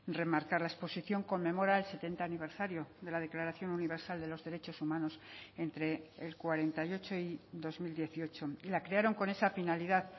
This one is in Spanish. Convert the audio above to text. remarcar la exposición conmemora el setenta aniversario de la declaración universal de los derechos humanos entre el cuarenta y ocho y dos mil dieciocho la crearon con esa finalidad